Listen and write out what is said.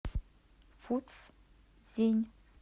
фуцзинь